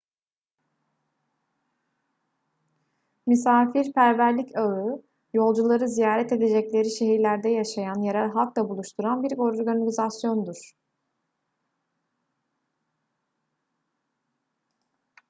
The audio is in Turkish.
misafirperverlik ağı yolcuları ziyaret edecekleri şehirlerde yaşayan yerel halkla buluşturan bir organizasyondur